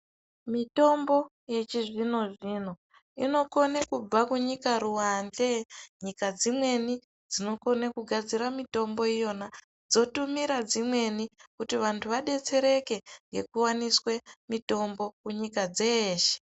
Mitombo yechizvino zvino inokone kubva kunyika ruwanze nyika dzimweni dzinokone kugadzire mitombo iyona dzotumira dzimweni kuti vanthu vadetsereke ngekuwaniswe mitombo kunyika dzeeshe.